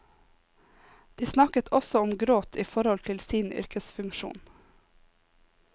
De snakket også om gråt i forhold til sin yrkesfunksjon.